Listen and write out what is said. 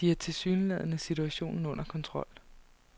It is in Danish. De havde tilsyneladende situationen under kontrol.